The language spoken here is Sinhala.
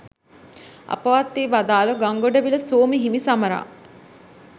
අපවත් වී වදාළ ගංගොඩවිල සෝම හිමි සමරා